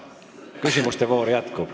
Küsimuste voor jätkub.